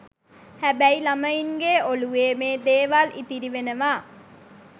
හැබැයි ළමයින්ගේ ඔළුවේ මේ දේවල් ඉතිරි වෙනවා.